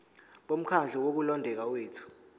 bomkhandlu wokulondeka kwethu